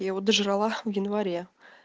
я его дожрала в январе